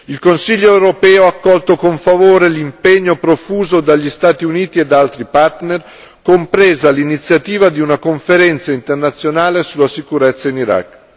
Il Consiglio europeo ha accolto con favore l'impegno profuso dagli Stati Uniti e da altri partner, compresa l'iniziativa di una conferenza internazionale sulla sicurezza in Iraq.